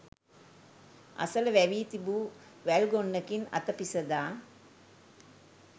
අසල වැවී තිබූ වැල්ගොන්නකින් අත පිසදා